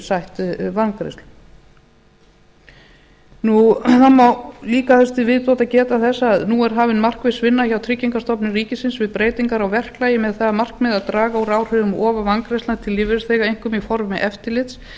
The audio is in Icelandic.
sætt vangreiðslum það má líka þessu til viðbótar geta þess að nú er hafin markviss vinna hjá tryggingastofnun ríkisins við breytingar á verklagi með það að markmiði að draga úr áhrifum of og vangreiðslna til lífeyrisþega einkum í formi eftirlits